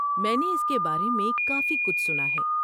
میں نے اس کے بارے میں کافی کچھ سنا ہے۔